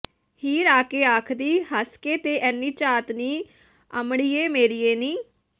ਹੀਰ ਆਇ ਕੇ ਆਖਦੀ ਹਸ ਕੇ ਤੇ ਅਨੀ ਝਾਤ ਨੀ ਅਮੜੀਏ ਮੇਰੀਏ ਨੀ